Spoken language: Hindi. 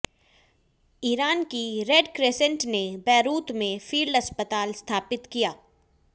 ईरान की रेड क्रिसेंट ने बैरूत में फील्ड अस्पताल स्थापित किया